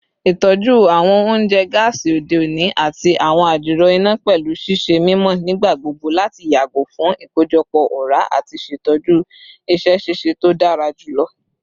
Itọju awọn ounjẹ gaasi ode oni ati awọn adiro ina pẹlu ṣiṣe mimọ nigbagbogbo lati yago fun ikojọpọ ọra ati ṣetọju iṣẹ ṣiṣe to dara julọ